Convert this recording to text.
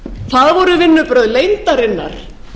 það voru vinnubrögð leyndarinnar